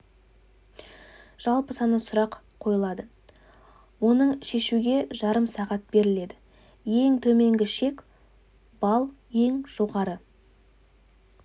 жалпы саны сұрақ қойылады оны шешуге жарым сағат беріледі ең төменгі шек балл ең жоғары